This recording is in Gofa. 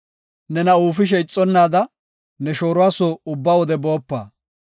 Nena uufishe ixonnaada, ne shooruwa soo ubba wode boopa.